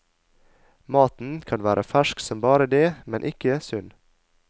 Maten kan være fersk som bare det, men ikke sunn.